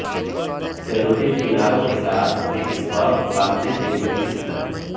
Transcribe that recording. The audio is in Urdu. سہ رخی کناروں کے ساتھ ایک سکارف باندھنے کے لئے کس طرح